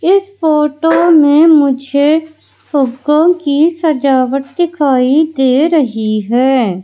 इस फोटो में मुझे फ़ुग्गो की सजावट दिखाई दे रही है।